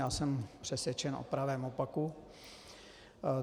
Já jsem přesvědčen o pravém opaku.